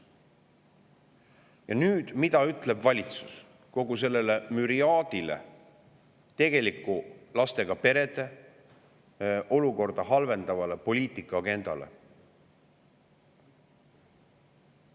Ja mida ütleb valitsus kogu selle müriaadi kohta, mis on seotud lastega perede tegelikku olukorda halvendava poliitika agendaga?